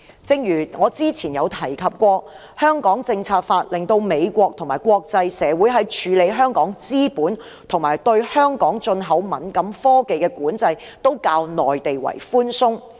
正如之前提到，《香港政策法》令美國及國際社會在處理香港資本及對香港進口敏感科技的管制都較內地寬鬆。